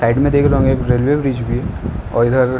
side में देख लो रेलवे का ब्रिज भी है और इधर --